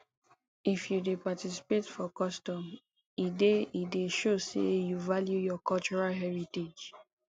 if you dey participate for custom e dey e dey show sey you value your cultural heritage